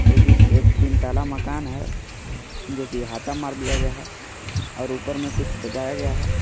जो की एक तीन तल्ला मकान है जो की हता मार दिया गया है और ऊपर में कुछ सजाया गया है।